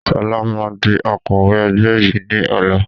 Sọlá máa di Akọ̀wẹ́ ẹgbẹ́ yìí ni ọ̀la